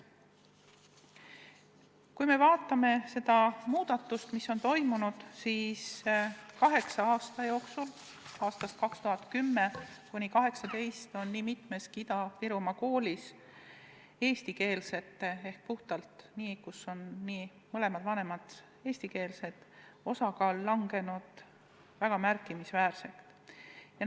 Kui me vaatame muudatust, mis on toimunud kaheksa aasta jooksul, aastail 2010–2018, siis näeme, et nii mitmeski Ida-Virumaa koolis on puhtalt eestikeelsete laste osakaal – mõlemad vanemad on eestikeelsed – märkimisväärselt kahanenud.